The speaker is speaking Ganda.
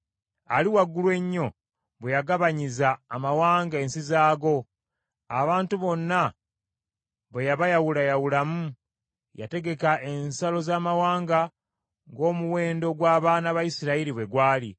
Ali Waggulu Ennyo bwe yagabanyiza amawanga ensi zaago abantu bonna bwe yabayawulayawulamu, yategeka ensalo z’amawanga ng’omuwendo gw’abaana ba Isirayiri bwe gwali.